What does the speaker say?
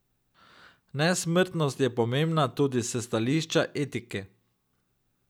Nesmrtnost je pomembna tudi s stališča etike.